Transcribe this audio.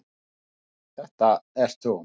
Þetta ert þú.